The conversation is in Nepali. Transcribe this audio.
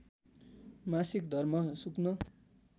मासिक धर्म सुक्न